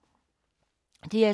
DR2